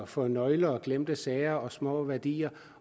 for nøgler og glemte sager og små værdier